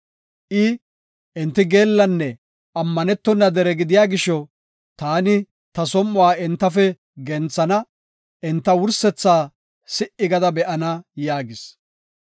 I, “Enti geellanne ammanetona dere gidiya gisho, taani ta som7uwa entafe genthana; enta wursethaa si77i gada be7ana” yaagis.